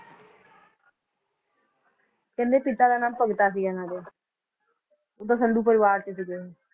ਕਹਿੰਦੇ ਪਿਤਾ ਦਾ ਨਾਮ ਭਗਤਾ ਸੀ ਇਹਨਾਂ ਦੇ ਸੰਧੂ ਪਰਿਵਾਰ ਚ ਸੀਗੇ ਇਹ